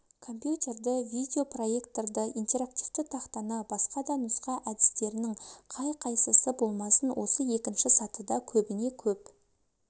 компьютерді видео проекторды интерактивті тақтаны басқа да нұсқау әдістерінің қай-қайысысы болмасын осы екінші сатыда көбіне көп